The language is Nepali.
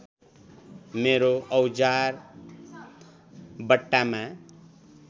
मेरो औजार बट्टामा